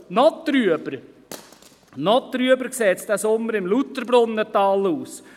Noch trüber sieht es in diesem Sommer im Lauterbrunnental aus.